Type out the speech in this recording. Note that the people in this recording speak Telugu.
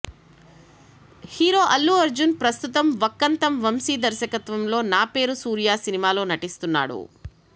హీరో అల్లు అర్జున్ ప్రస్తుతం వక్కంతం వంశీ దర్శకత్వంలో నా పేరు సూర్య సినిమాలో నటిస్తున్నాడు